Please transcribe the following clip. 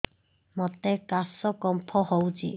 ମୋତେ କାଶ କଫ ହଉଚି